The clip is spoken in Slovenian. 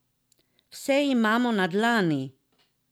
Vse imamo na dlani!